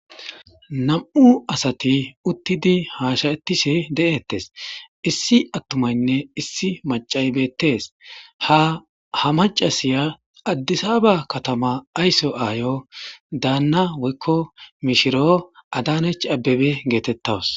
nam'u asati uttidi haasha'etishe de'ettes issi attumaynne issi macay beettees ha ha macasiya addisaba katama aysso aayo daanna woykko mishiro adanech abbebe geetettawus